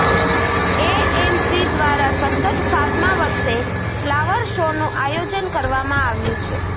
AMC દ્વારા સતત સાતમાં વર્ષે ફ્લાવર શોનું આયોજન કરવામાં આવ્યું છે